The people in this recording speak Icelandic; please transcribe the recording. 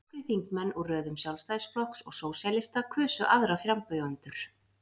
nokkrir þingmenn úr röðum sjálfstæðisflokks og sósíalista kusu aðra frambjóðendur